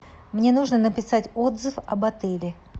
мне нужно написать отзыв об отеле